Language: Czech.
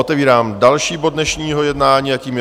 Otevírám další bod dnešního jednání a tím je